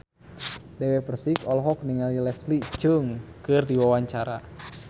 Dewi Persik olohok ningali Leslie Cheung keur diwawancara